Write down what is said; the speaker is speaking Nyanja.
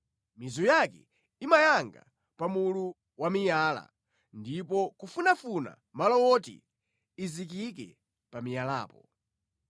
mizu yake imayanga pa mulu wa miyala ndi kufunafuna malo woti izikike pa miyalapo.